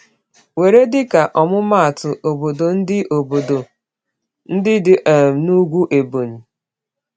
Were dịka ọmụmaatụ obodo ndị obodo ndị dị um n’ugwu Ebonyi.